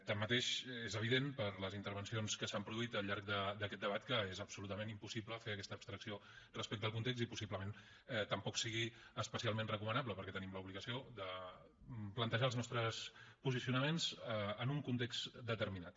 tanmateix és evident per les intervencions que s’han produït al llarg d’aquest debat que és absolutament impossible fer aquesta abstracció respecte al context i possiblement tampoc sigui especialment recomanable perquè tenim l’obligació de plantejar els nostres posicionaments en un context determinat